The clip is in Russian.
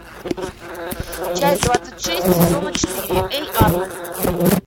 часть двадцать шесть сезона четыре эй арнольд